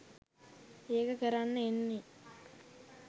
ඒක කරන්න එන්නේ